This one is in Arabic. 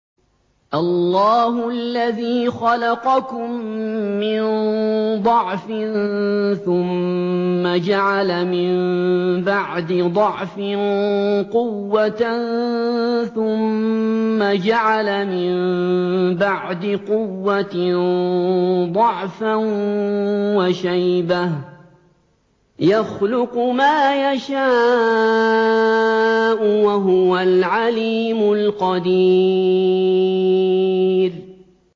۞ اللَّهُ الَّذِي خَلَقَكُم مِّن ضَعْفٍ ثُمَّ جَعَلَ مِن بَعْدِ ضَعْفٍ قُوَّةً ثُمَّ جَعَلَ مِن بَعْدِ قُوَّةٍ ضَعْفًا وَشَيْبَةً ۚ يَخْلُقُ مَا يَشَاءُ ۖ وَهُوَ الْعَلِيمُ الْقَدِيرُ